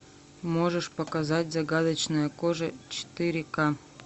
можешь показать загадочная кожа четыре ка